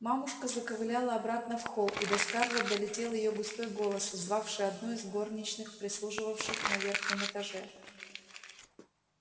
мамушка заковыляла обратно в холл и до скарлетт долетел её густой голос звавший одну из горничных прислуживавших на верхнем этаже